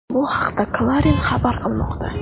Bu haqda Clarin xabar qilmoqda .